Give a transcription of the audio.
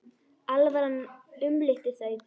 Alvaran umlukti þau.